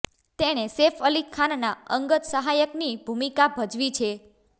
તેણે સૈફ અલી ખાનના અંગત સહાયકની ભૂમિકા ભજવી છે